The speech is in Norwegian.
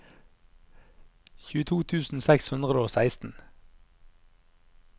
tjueto tusen seks hundre og seksten